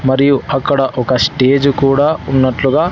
మరియు అక్కడ ఒక స్టేజ్ కూడా ఉన్నట్లుగా--